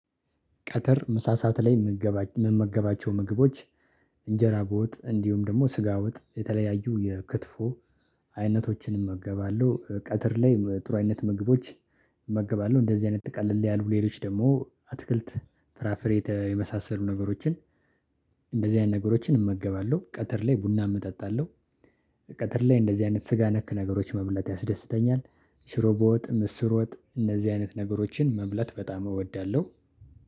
ቀትር ምሳሳት ላይ መመገባቸው ምግቦች እንጀራ በወጥ እንዲሁም ደግሞ ስጋ ወጥ የተለያዩ የክትፎ አይነቶችን እመገባለሁ። ቀትር ላይ ጥሩ አይነት ምግቦች እመገባለሁ። እንደዚህ አይነት ትቀልል ያሉ ሌሎች ደግሞ አትክልት ፍራፍሬ የመሳሰሉ ነገሮችን እንደዚህ አይነት ነገሮችን እመገባለሁ። ቀትር ላይ ቡናም እጠጣለሁ። ቀትር ላይ እንደዚህ አይነት ስጋ ነክ ነገሮች መብላት ያስደስተኛል። ሽሮ በወጥ ምስር ወጥ እነዚህ አይነት ነገሮችን መብላት በጣም እወዳለሁ።